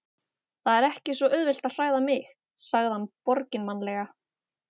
Það er ekki svo auðvelt að hræða mig- sagði hann borginmannlega.